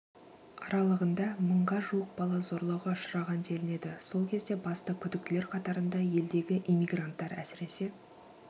аралығында мыңға жуық бала зорлауға ұшыраған делінеді сол кезде басты күдіктілер қатарында елдегі иммигранттар әсіресе